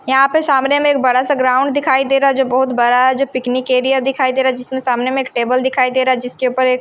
यहाँ पे सामने में एक बड़ा-सा ग्राउंड दिखाई दे रहा है जो बहुत बड़ा हैजो पिकनिक एरिया दिखाई दे रहा है जिसमें सामने में एक टेबल दिखाई दे रहा है जिसके ऊपर एक--